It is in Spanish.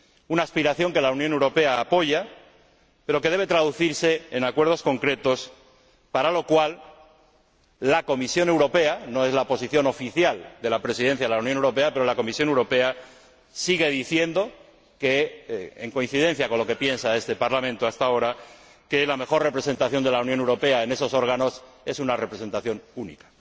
Una aspiración que la Unión Europea apoya, pero que debe traducirse en acuerdos concretos, para lo cual la Comisión Europea ―no es la posición oficial de la Presidencia de la Unión Europea― sigue diciendo que, en coincidencia con lo que piensa este Parlamento hasta ahora, la mejor representación de la Unión Europea en esos órganos es una representación única.